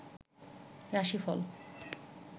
রাশি ফল